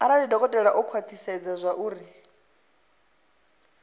arali dokotela o khwathisedza zwauri